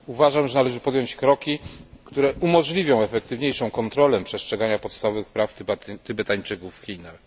Uważam, że należy podjąć kroki, które umożliwią efektywniejszą kontrolę przestrzegania podstawowych praw Tybetańczyków w Chinach.